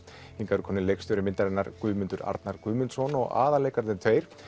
hingað eru komnir leikstjóri myndarinnar Guðmundur Arnar Guðmundsson og aðalleikararnir tveir